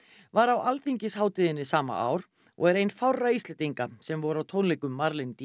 var á alþingishátíðinni sama ár og er ein fárra Íslendinga sem voru á tónleikum